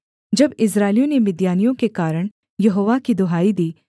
जब इस्राएलियों ने मिद्यानियों के कारण यहोवा की दुहाई दी